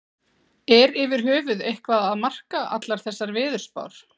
Er yfir höfuð eitthvað að marka allar þessar veðurspár?